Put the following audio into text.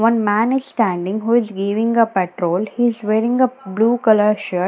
one man is standing who is giving a petrol he is wearing a blue colour shirt.